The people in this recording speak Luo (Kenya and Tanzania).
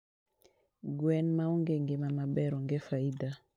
Gwen maonge ngima maber onge faida